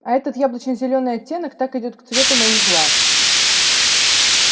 а этот яблочно-зелёный оттенок так идёт к цвету моих глаз